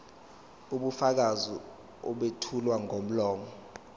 ubufakazi obethulwa ngomlomo